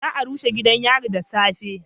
Za a rushe gidan yari da safe